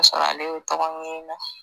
sɔrɔ ale bɛ tɔgɔ ɲina na.